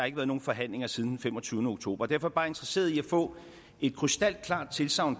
ikke været nogen forhandlinger siden den femogtyvende oktober derfor bare interesseret i at få et krystalklart tilsagn